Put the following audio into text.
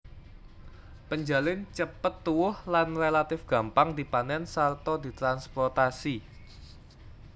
Penjalin cepet tuwuh lan relatif gampang dipanèn sarta ditransprotasi